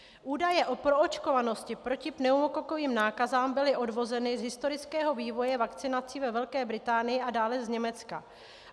Údaje o proočkovanosti proti pneumokokovým nákazám byly odvozeny z historického vývoje vakcinací ve Velké Británii a dále z Německa.